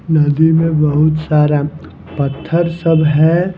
नदी में बहुत सारा पत्थर सब है।